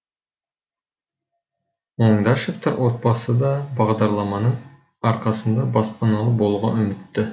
оңдашевтар отбасы да бағдарламаның арқасында баспаналы болуға үмітті